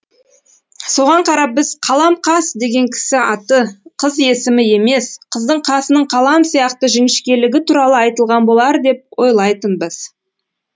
соған қарап біз қалам қас деген кісі аты қыз есімі емес қыздың қасының қалам сияқты жіңішкелігі туралы айтылған болар деп ойлайтынбыз